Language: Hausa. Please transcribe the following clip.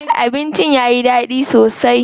Abincin yayi daɗi sosai.